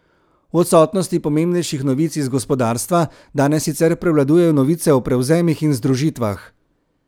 V odsotnosti pomembnejših novic iz gospodarstva danes sicer prevladujejo novice o prevzemih in združitvah.